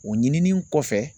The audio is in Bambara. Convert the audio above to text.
O ɲinini kɔfɛ